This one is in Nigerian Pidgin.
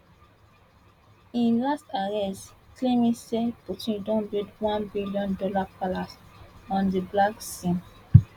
im last arrest claiming say putin don build onebillion dollar palace on di black sea